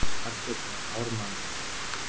arnljótur var hár maður vexti